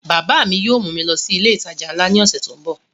Bàbá yóò mú mi lọ sí ilé ìtajà nla ní ọ̀sẹ̀ tó ń bọ̀